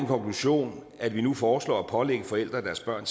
konklusion at vi nu foreslår at pålægge forældre at deres børn